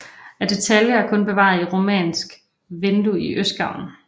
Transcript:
Af detaljer er kun bevaret et romansk vindue i østgavlen